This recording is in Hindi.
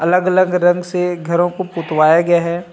अलग - अलग रंग से घरो को पोतवाया गया है।